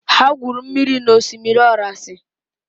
Ha gwuru mmiri na osimiri orasi.